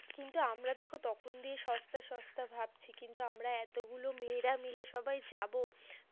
কিন্তু আমরা দেখো, তখন দিয়ে সস্তা সস্তা ভাবছি, কিন্তু আমরা এতগুলো মেয়েরা মিলে সবাই যাবো